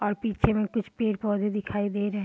और पीछे में कुछ पेड़-पौधे दिखाई दे रहे।